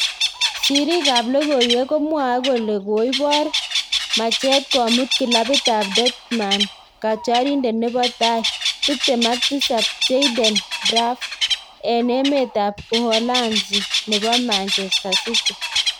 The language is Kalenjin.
Siriik ab logoiwek komwae kole koibor machet komut kilabit ab Dortmund katyarindet nebo tai, tiptem ak tisap, Jayden Braaf en emt ab Uholanzi nebo Manchester city